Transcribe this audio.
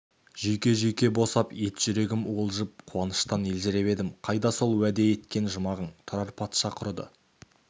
жүйке-жүйке босап ет жүрегім уылжып қуаныштан елжіреп едім қайда сол уәде еткен жұмағың тұрар патша құрыды